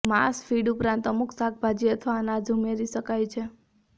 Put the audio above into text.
માંસ ફીડ ઉપરાંત અમુક શાકભાજી અથવા અનાજ ઉમેરી શકાય છે